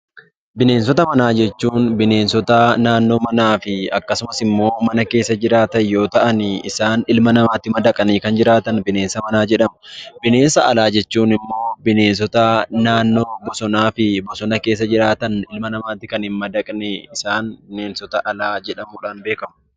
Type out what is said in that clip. Bineensota manaa jechuun bineensota naannoo manaa fi akkasumas immoo mana keessa jiraatan yoo ta'an, isaan ilma namaatti madaqanii kan jiraatan 'Bineensa manaa' jedhamu. Bineensa alaa jechuun immoo bineensota naannoo bosanaa fi bosona keessa jiraatan ilma namaatti kan hin madaqne, isaan 'Bineensota alaa' jedhamuudhaan beekamu.